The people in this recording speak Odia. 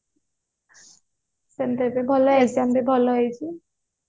ସେମିତି ଭଲ exam ବି ଭଲ ହେଇଛି